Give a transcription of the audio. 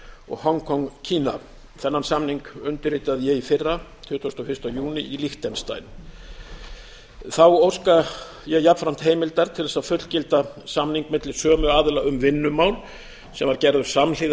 og hong kong kína þennan samning undirritaði ég í fyrra tuttugasta og fyrsta júní í liechtenstein þá óska ég jafnframt heimildar til þess að fullgilda samning milli sömu aðila um vinnumál sem gerður var samhliða